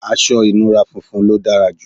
aṣọ ìnura funfun ló dára jù